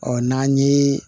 Ɔ n'an ye